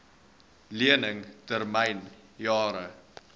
lening termyn jare